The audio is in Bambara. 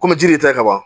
Kɔmi jiri yɛrɛ tɛ ka ban